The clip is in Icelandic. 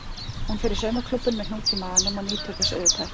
Hún fer í saumaklúbbinn með hnút í maganum og nýtur þess auðvitað ekki.